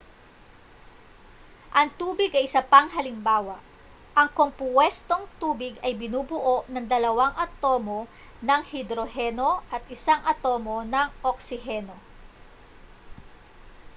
ang tubig ay isa pang halimbawa ang kompuwestong tubig ay binubuo ng dalawang atomo ng hidroheno at isang atomo ng oksiheno